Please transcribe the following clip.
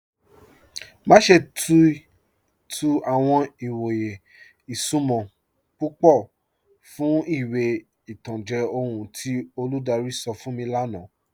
Má ṣè tí tú àwọn ìwọ̀yè ìṣúnmọ̀ púpọ̀ fún ìwé ìtàn jẹ́ ọhun tí olúdárí sọ̀ fún mi lána.